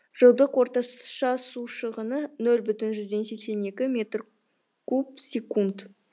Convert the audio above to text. жылдық орташа су шығыны нөл бүтін оннан сексен екі метр куб секунд